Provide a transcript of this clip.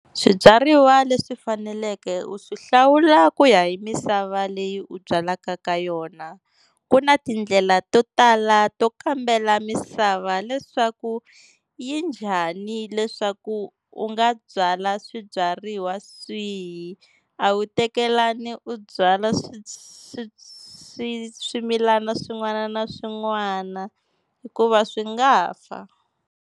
Swibyariwa leswi faneleke u swi hlawula ku ya hi misava leyi u byalaka ka yona, ku na tindlela to tala to kambela misava leswaku yi njhani leswaku u nga byala swibyariwa swihi a wu tekelani u byala swi swimilana swin'wana na swin'wana hikuva swi nga fa.